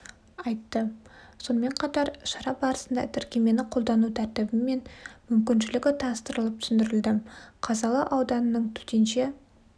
айтты сонымен қатар шара барысында тіркемені қолдану тәртібі мен мүмкіншілігі таныстырылып түсіндірілді қазалы ауданының төтенше